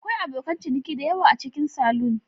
Akwai abokan ciniki da yawa a cikin salon.